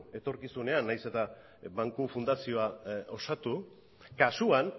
etorkizunean nahiz eta banku fundazioa osatu kasuan